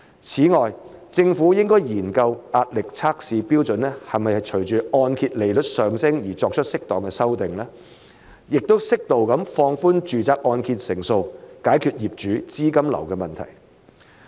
此外，政府應該研究壓力測試標準是否隨按揭利率上升而作出適當修訂，並適度放寬按揭成數，解決業主資金流的問題。